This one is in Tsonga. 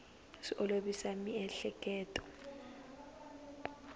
swi olovisa miehleketo